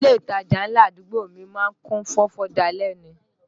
Ilé ìtajà ńlá àdúgbò mi má ń kún fọ́fọ́ dalẹ́ ni